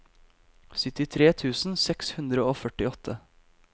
syttitre tusen seks hundre og førtiåtte